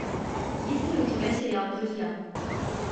есть ли у тебя сериал друзья